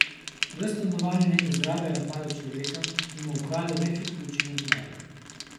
V stanovanju neke zgradbe je napadel človeka in mu ukradel večjo količino denarja.